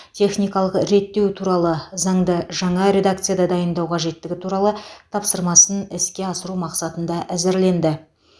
техникалық реттеу туралы заңды жаңа редакцияда дайындау қажеттігі туралы тапсырмасын іске асыру мақсатында әзірленді